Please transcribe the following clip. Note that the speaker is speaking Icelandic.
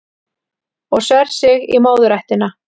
Og sver sig í móðurættina